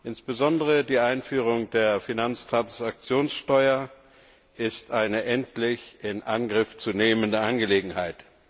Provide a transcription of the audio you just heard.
Insbesondere die Einführung der Finanztransaktionssteuer ist eine endlich in Angriff zu nehmende Angelegenheit.